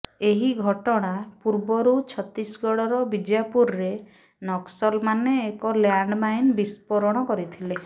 ଏହି ଘଟଣା ପୂର୍ବରୁ ଛତିଶଗଡ଼ର ବିଜାପୁରରେ ନକ୍ସଲମାନେ ଏକ ଲ୍ୟାଣ୍ଡମାଇନ୍ ବିସ୍ଫୋରଣ କରିଥିଲେ